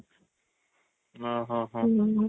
ଓ ହଁ ଆଉ